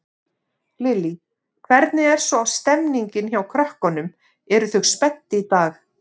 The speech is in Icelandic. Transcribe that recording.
Lillý: Hvernig er svo stemmingin hjá krökkunum, eru þau spennt í dag?